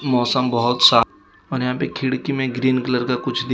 मौसम बहोत सा और यहां पे खिड़की मे ग्रीन कलर का कुछ दिख--